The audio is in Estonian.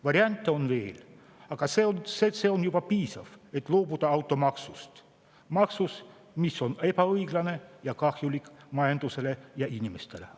Variante on veel, aga see on juba piisav, et loobuda automaksust, mis on ebaõiglane ning kahjulik majandusele ja inimestele.